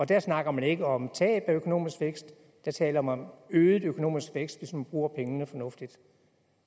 der snakker man ikke om tab af økonomisk vækst der taler man om øget økonomisk vækst hvis man bruger pengene fornuftigt